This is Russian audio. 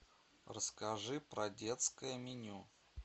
расскажи про детское меню